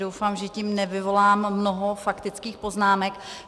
Doufám, že tím nevyvolám mnoho faktických poznámek.